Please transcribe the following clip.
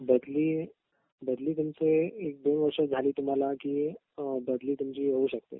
बदली बदली म्हणजे एक दोन वर्ष झाली तुम्हाला कि बदली तुमची होऊ शकते